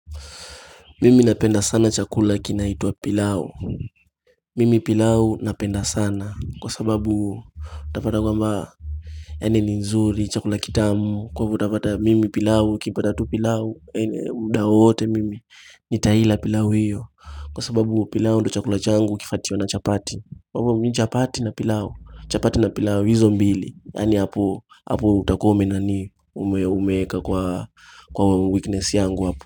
Mimi napenda sana chakula kinaitwa pilau Mimi pilau napenda sana kwa sababu upata kwamba Yani ni nzuri chakula kitamu kwamba utapata mimi pilau nikipata tu pilau mda wowote mimi nitaila pilau hiyo kwa sababu pilau ndo chakula changu ukifuatiwa na chapati Kwaivyo mimi chapati na pilau chapati na pilau hizo mbili yani hapo hapo utakuwa umenani kwa weakness yangu hapo.